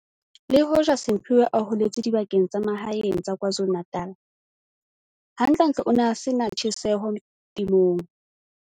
Le hoja Simphiwe a holetse dibakeng tsa mahaeng tsa KwaZulu-Natal, hantlentle o ne a se na tjheseho temong.